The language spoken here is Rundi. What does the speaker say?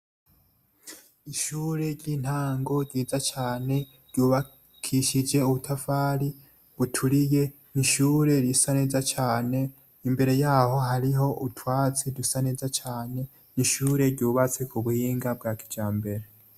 Ishure ry' intango ryiza cane ryubakishije ubutafari buturiye ishure risa neza cane imbere yaho utwatsi dusa neza cane ishure ryubatse kubuhinga bwa kijambere.